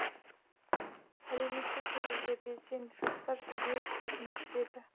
әлеуметтік желіде белсенді жастар жедел шешім күтеді